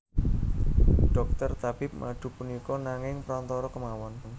Dhokter tabib madu punika nanging prantara kemawon